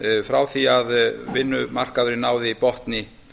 frá því að vinnumarkaðurinn náði botni